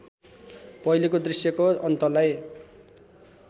पहिलेको दृश्यको अन्तलाई